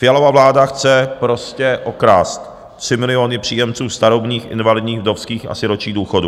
Fialova vláda chce prostě okrást 3 miliony příjemců starobních, invalidních, vdovských a sirotčích důchodů.